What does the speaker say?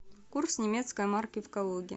курс немецкой марки в калуге